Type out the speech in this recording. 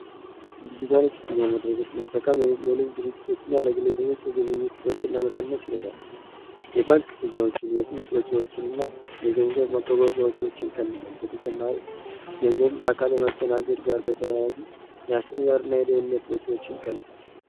ዲጅታል ክ ፍያመድረጎች መጠካም ለንት ድርጅቶች እና ለግሎ ሰቦች የግብይት ወጪን ለመከነት ይሌዳል የባንክ ፍያዎችን የህትመት ወጪዎችን እና የገንዘብ አጓጓወጃወቸዎችን ይከንሳል በተቸማሪም ገንዘብ በአካል የማስተናገድ ጋር በተያዚ ያስርረር እና የደህነት ወጪዎችን ይከንሳው